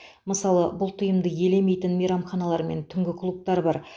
мысалы бұл тыйымды елемейтін мейрамханалар мен түнгі клубтар бар